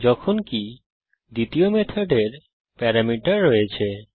যখনকি দ্বিতীয় মেথডের প্যারামিটার রয়েছে